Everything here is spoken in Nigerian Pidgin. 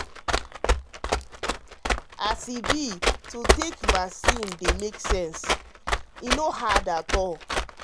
as e be to take vaccine dey make sense e no hard at all.